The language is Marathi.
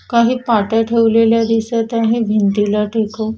काही पाट्या ठेवलेल्या दिसत आहे भिंतीला टेकवून.